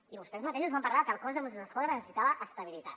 i vostès mateixos van parlar que el cos de mossos d’esquadra necessitava estabilitat